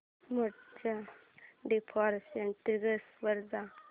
मोड च्या default settings वर जा